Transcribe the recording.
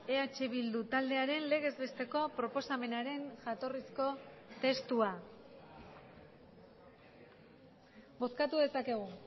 eh bildu taldearen legez besteko proposamenaren jatorrizko testua bozkatu dezakegu